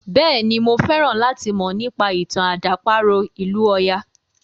Bẹ́ẹ̀ni, máa fẹ́ràn láti mọ̀ nípa ìtàn àdàparo ìlú ọya.